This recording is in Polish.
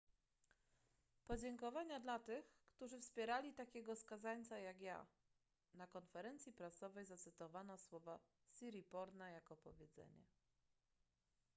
podziękowania dla tych którzy wpierali takiego skazańca jak ja na konferencji prasowej zacytowano słowa siriporna jako powiedzenie